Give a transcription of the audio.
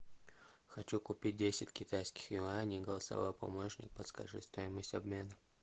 хочу купить десять китайских юаней голосовой помощник подскажи стоимость обмена